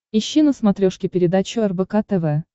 ищи на смотрешке передачу рбк тв